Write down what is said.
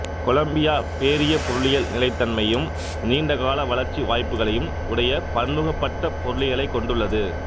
Colombia பேரியப் பொருளியல் நிலைத்தன்மையும் நீண்டகால வளர்ச்சி வாய்ப்புகளையும் உடைய பன்முகப்பட்ட பொருளியலைக் கொண்டுள்ளது